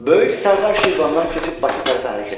Böyük Sərdar Şirvandan keçib Bakı tərəfə hərəkət etdi.